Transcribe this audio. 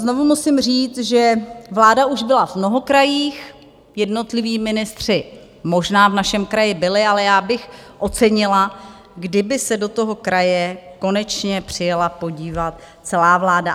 Znovu musím říct, že vláda už byla v mnoho krajích, jednotliví ministři možná v našem kraji byli, ale já bych ocenila, kdyby se do toho kraje konečně přijela podívat celá vláda.